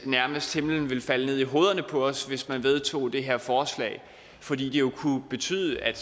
nærmest ville falde ned i hovederne på os hvis man vedtog det her forslag fordi det jo kunne betyde at